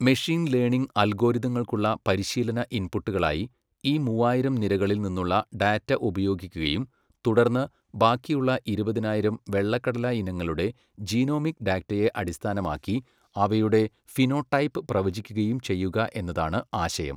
Machine learning അൽഗോരിതങ്ങൾക്കുള്ള പരിശീലന ഇൻപുട്ടുകളായി ഈ മൂവായിരം നിരകളിൽ നിന്നുള്ള ഡാറ്റ ഉപയോഗിക്കുകയും തുടർന്ന് ബാക്കിയുള്ള ഇരുപതിനായിരം വെള്ളക്കടല ഇനങ്ങളുടെ ജീനോമിക് ഡാറ്റയെ അടിസ്ഥാനമാക്കി അവയുടെ ഫിനോടൈപ്പ് പ്രവചിക്കുകയും ചെയ്യുക എന്നതാണ് ആശയം.